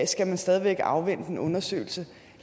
skal man stadig væk afvente en undersøgelse